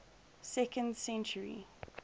second century